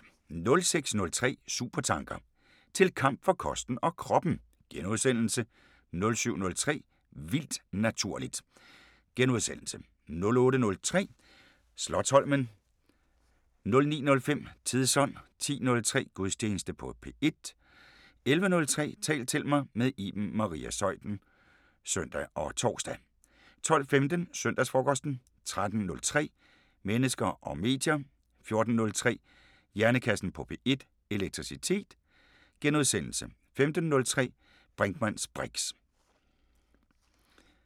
06:03: Supertanker: Til kamp for kosten og kroppen * 07:03: Vildt naturligt * 08:03: Slotsholmen * 09:05: Tidsånd 10:03: Gudstjeneste på P1 11:03: Tal til mig – med Iben Maria Zeuthen (søn og tor) 12:15: Søndagsfrokosten 13:03: Mennesker og medier * 14:03: Hjernekassen på P1: Elektricitet * 15:03: Brinkmanns briks *